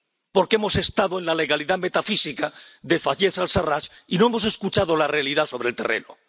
Porque hemos estado en la legalidad metafísica de Fayez al Sarraj y no hemos escuchado la realidad sobre el terreno.